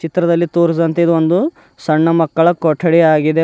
ಚಿತ್ರದಲ್ಲಿ ತೋರಿಸಿದಂತೆ ಇದೊಂದು ಸಣ್ಣ ಮಕ್ಕಳ ಕೊಠಡಿಯಾಗಿದೆ.